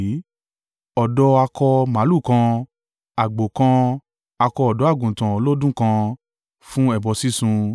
ọ̀dọ́ akọ màlúù kan, àgbò kan, akọ ọ̀dọ́-àgùntàn ọlọ́dún kan fún ẹbọ sísun,